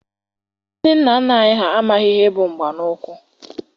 Ndị nna nna anyị ha amaghị ihe bụ mgba n'ụkwụ.